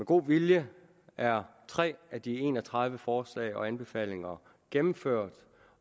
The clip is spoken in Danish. god vilje er tre af de en og tredive forslag og anbefalinger gennemført